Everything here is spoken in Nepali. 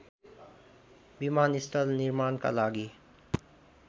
विमानस्थल निर्माणका लागि